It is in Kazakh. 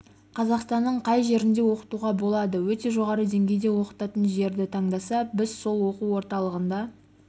қазақстанның қай жерінде оқытуға болады өте жоғары деңгейде оқытатын жерді таңдаса біз сол оқу орталығында